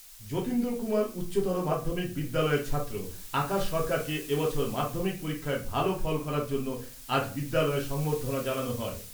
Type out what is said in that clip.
যতীন্দ্র কুমার উচ্চতর মাধ্যমিক বিদ্যালয়ের ছাত্র আকাশ সরকারকে এ বছর মাধ্যমিক পরীক্ষায় ভালো ফল করার জন্য আজ বিদ্যালয়ে সম্বর্ধনা জানানো হয়।